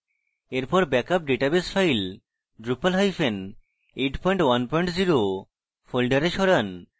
এরপর backup database file drupal810 folder সরান